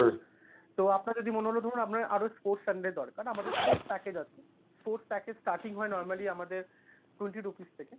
তো আপনার যদি মনে হলো ধরুন আপনার আরো sports channel দরকার, আমাদের sports package আছে sports package starting ই হয় normally আমাদের twenty rupees থেকে,